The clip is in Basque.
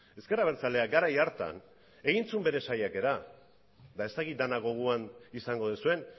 ezker abertzaleak garai hartan egin zuen bere saiakera eta ez dakit denok gogoan izango duzuen